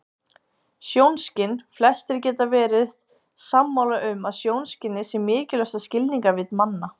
Sjónskyn Flestir geta verið sammála um að sjónskynið sé mikilvægasta skilningarvit manna.